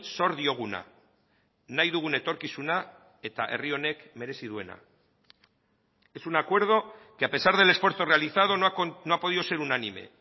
zor dioguna nahi dugun etorkizuna eta herri honek merezi duena es un acuerdo que a pesar del esfuerzo realizado no ha podido ser unánime